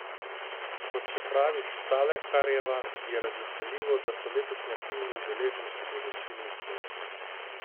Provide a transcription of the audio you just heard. Kot še pravi Štalekarjeva, je razveseljivo, da so letošnji aktivni udeleženci v večini iz Slovenije.